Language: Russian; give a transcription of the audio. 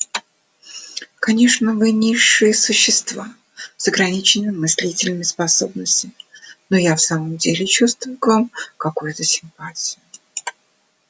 конечно вы низшие существа с ограниченным мыслительным способностям но я в самом деле чувствую к вам какую-то симпатию